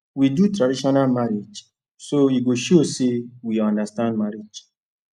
we do traditional marriage so e go show say we understand marriage